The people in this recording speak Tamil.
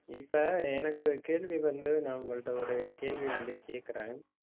இப்ப எனக்கு கேள்வி வந்து, நான் உங்கள்ட்ட ஒரு கேள்வி வந்து கேட்கிறேன்